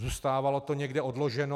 Zůstávalo to někde odloženo.